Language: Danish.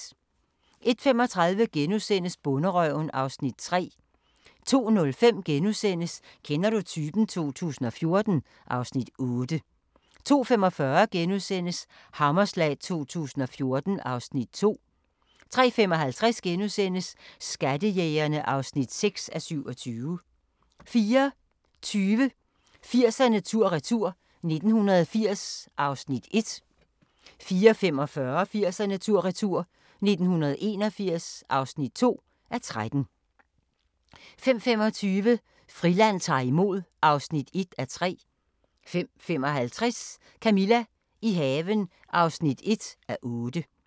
01:35: Bonderøven (Afs. 3)* 02:05: Kender du typen? 2014 (Afs. 8)* 02:45: Hammerslag 2014 (Afs. 2)* 03:55: Skattejægerne (6:27)* 04:20: 80'erne tur-retur: 1980 (1:13) 04:45: 80'erne tur-retur: 1981 (2:13) 05:25: Friland ta'r imod (1:3) 05:55: Camilla – i haven (1:8)